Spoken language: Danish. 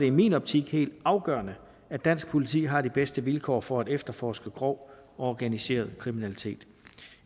i min optik helt afgørende at dansk politi har de bedste vilkår for at efterforske grov og organiseret kriminalitet